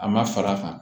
A ma far'a kan